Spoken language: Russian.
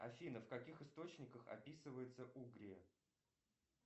афина в каких источниках описывается угрия